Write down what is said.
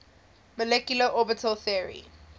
molecular orbital theory